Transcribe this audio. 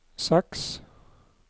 seks